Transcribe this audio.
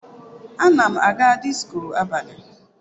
Ana m aga disko abalị.